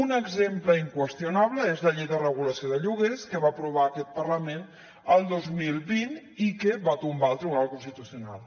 un exemple inqüestionable és la llei de regulació de lloguers que va aprovar aquest parlament el dos mil vint i que va tombar el tribunal constitucional